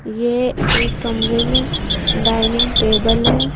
ये एक कमरे में डाइनिंग टेबल है।